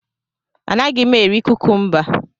Anaghị m eri kukumba.